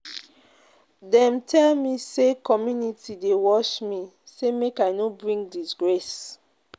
Dem tell me sey community dey watch me, sey make I no bring disgrace.